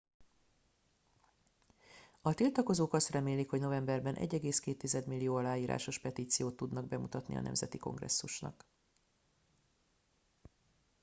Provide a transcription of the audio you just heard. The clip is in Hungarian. a tiltakozók azt remélik hogy novemberben 1,2 millió aláírásos petíciót tudnak bemutatni a nemzeti kongresszusnak